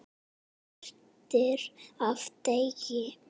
Brátt birtir af degi.